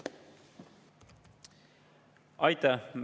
Aitäh!